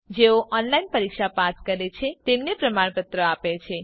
જેઓ ઓનલાઇન પરીક્ષા પાસ કરે છે તેમને પ્રમાણપત્ર આપે છે